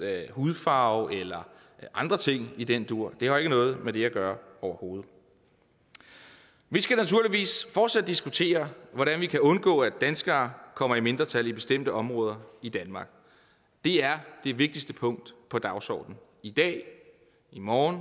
hudfarve eller andre ting i den dur det har jo ikke noget med det at gøre overhovedet vi skal naturligvis fortsat diskutere hvordan vi kan undgå at danskere kommer i mindretal i bestemte områder i danmark det er det vigtigste punkt på dagsordenen i dag i morgen